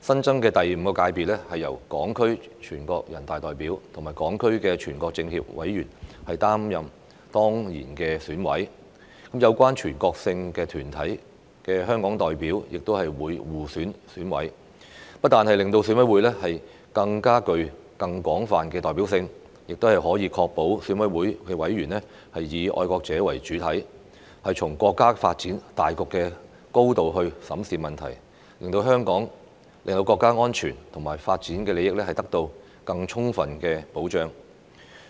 新增的第五界別，由港區全國人大代表和港區全國政協委員擔任當然委員，有關全國性團體的香港代表亦會互選選委，不但令選委會具更廣泛的代表性，亦可確保選委會委員以愛國者為主體，從國家發展大局的高度審視問題，令國家安全和發展利益得到更充分的保障。